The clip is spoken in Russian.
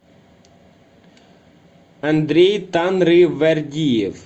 андрей танривердиев